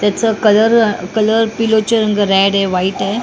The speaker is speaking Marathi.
त्याचं कलर कलर पिलोच्या रंग रेड आहे व्हाईट आहे.